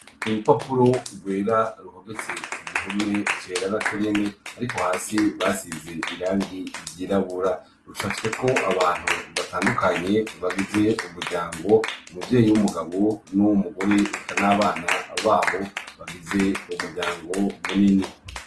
Urupapuro rwera ruhometse wihume cera na conyine ariko hasi basize irangi ryirabura ruca fite ko abantu batandukanye bagize umuryango muvyeyi w'umugabo n'umugore ekan' abana babo bagize umuryango munini.